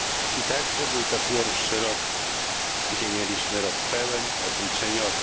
I także to był pierwszy rok, gdzie mieliśmy rok pełen obliczeniowy.